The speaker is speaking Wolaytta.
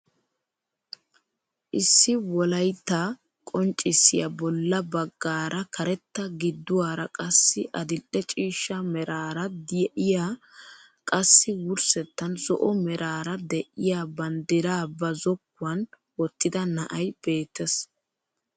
Issi wolaytta qonccisiyaa bolla baggaara karetta gidduwaara qassi adil'e ciishsha meraara de'iyaa qassi wursettan zo'o merara de'iyaa banddiraa ba zokkuwaan wottida na'ay beettees!